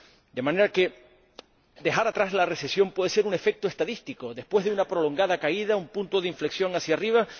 De manera que dejar atrás la recesión puede ser un efecto estadístico después de una prolongada caída, un punto de inflexión hacia arriba